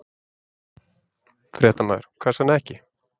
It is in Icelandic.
Fréttamaður: Hvers vegna ekki?